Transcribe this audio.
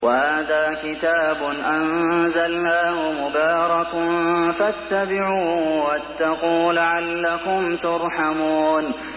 وَهَٰذَا كِتَابٌ أَنزَلْنَاهُ مُبَارَكٌ فَاتَّبِعُوهُ وَاتَّقُوا لَعَلَّكُمْ تُرْحَمُونَ